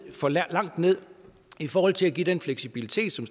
for langt ned i forhold til at give den fleksibilitet som